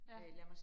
Ja